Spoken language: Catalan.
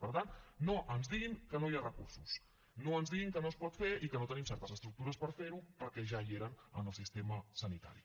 per tant no ens diguin que no hi ha recursos no ens diguin que no es pot fer i que no tenim certes estructures per fer ho perquè ja hi eren en el sistema sanitari